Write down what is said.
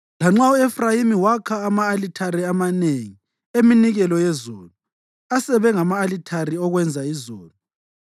Lanxa u-Efrayimi wakha ama-alithare amanengi eminikelo yezono, asebe ngama-alithare okwenza izono.